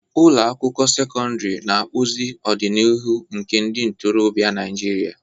Ụlọ akwụkwọ sekọndrị na-akpụzi ọdịnihu nke ndị ntorobịa Naijiria.